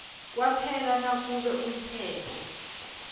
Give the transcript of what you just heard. kwaphela nakube umthetho